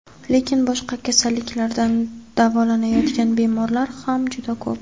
lekin boshqa kasalliklardan davolanayotgan bemorlar ham juda ko‘p.